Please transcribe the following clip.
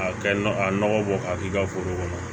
A kɛ nɔgɔ a nɔgɔ bɔ ka k'i ka foro kɔnɔ